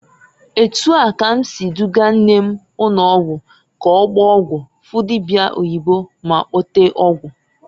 Etu a ka m si dugaa nne m ụnọgwụ ka ọgbaa ọgwụ, fụ dibia oyibo ma kpote ọgwụ.